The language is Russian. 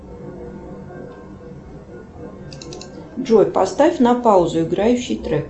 джой поставь на паузу играющий трек